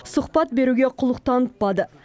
сұхпат беруге құлық танытпады